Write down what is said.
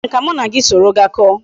Chere m ka m na gi soro gaa ko